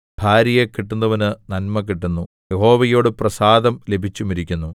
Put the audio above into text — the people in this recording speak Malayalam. ഭാര്യയെ കിട്ടുന്നവന് നന്മ കിട്ടുന്നു യഹോവയോട് പ്രസാദം ലഭിച്ചുമിരിക്കുന്നു